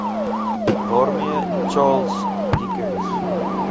waarmee charles dickens